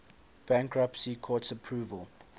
bankruptcy court's approval